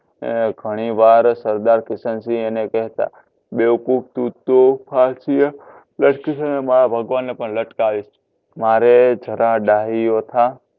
ઘણી વાર સરદાર કિશનસિંહ એને કેહતા બેવકૂફ તું તો ફાસી એ લટકીશ અને મારા ભગવાનને પણ લટકાવીશ મારે જરા ડાહ્યો થા.